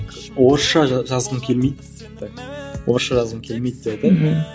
орысша жазғым келмейді і орысша жазғым келмейді деп айтайын мхм